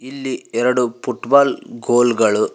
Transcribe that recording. ಇಲ್ಲಿ ಎರಡು football goal ಗಳು--